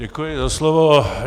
Děkuji za slovo.